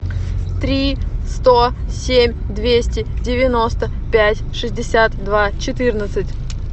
три сто семь двести девяносто пять шестьдесят два четырнадцать